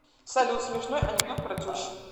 салют смешной анекдот про тещу